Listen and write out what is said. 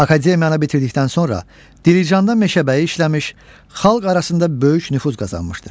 Akademiyanı bitirdikdən sonra Dilicanda meşəbəyi işləmiş, xalq arasında böyük nüfuz qazanmışdır.